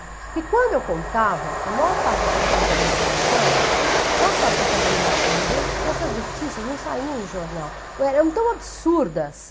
Porque quando eu contava, a maior parte das pessoas da minha geração ou achava que eu estava mentindo, porque essas notícias não saíam em jornal, ou eram tão absurdas,